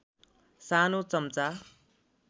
सानो चम्चा